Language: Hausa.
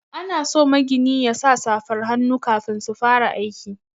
Ana so magini yasa safar hannu kafin su fara aiki.